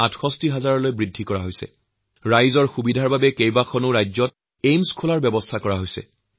সমগ্ৰ দেশৰ জনসাধাৰণৰ বাবে বিভিন্ন ৰাজ্যত নতুন এইমছ স্থাপন কৰি উন্নত চিকিৎসা আৰু স্বাস্থ্যসেৱা আগবঢ়োৱাৰ ব্যৱস্থা কৰা হৈছে